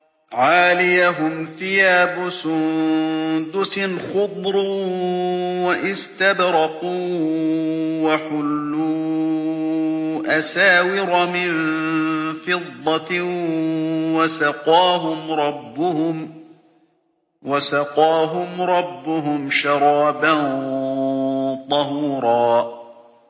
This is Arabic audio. عَالِيَهُمْ ثِيَابُ سُندُسٍ خُضْرٌ وَإِسْتَبْرَقٌ ۖ وَحُلُّوا أَسَاوِرَ مِن فِضَّةٍ وَسَقَاهُمْ رَبُّهُمْ شَرَابًا طَهُورًا